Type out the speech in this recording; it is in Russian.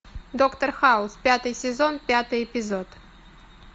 доктор хаус пятый сезон пятый эпизод